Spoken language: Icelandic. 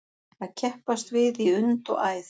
Að keppast við í und og æð